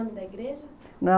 O nome da igreja?